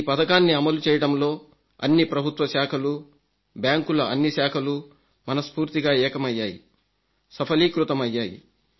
ఈ పథకాన్ని అమలుచేయడంలో అన్ని ప్రభుత్వ శాఖలూ బ్యాంకుల అన్ని శాఖలూ మనస్ఫూర్తిగా ఏకమయ్యాయి సఫలీకృతమయ్యాయి